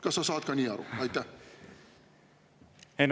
Kas sa saad ka niimoodi aru?